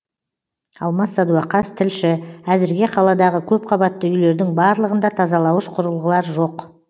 алмас садуақас тілші әзірге қаладағы көпқабатты үйлердің барлығында тазалауыш құрылғылар жоқ